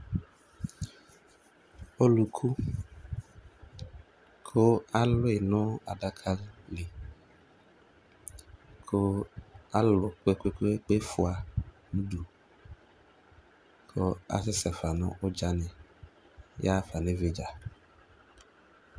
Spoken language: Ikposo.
Ɔluku , kʋ aluyi nʋ adaka liKʋ alu kpekpekpe fua nudu Kʋ asɛsɛ fa nʋ ɔdzani yaɣa fa nividza